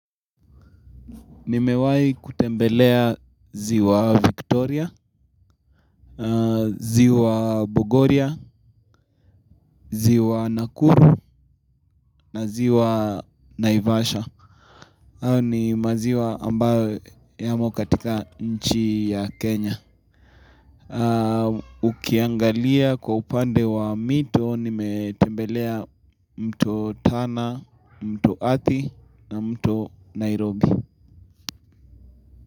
Nimewahi kutembelea ziwa Victoria, ziwa Bogoria, ziwa Nakuru na ziwa Naivasha. Hayo ni maziwa ambayo yamo katika nchi ya Kenya. Ukiangalia kwa upande wa mito, nimetembelea mto Tana, mto Athi na mto Nairobi.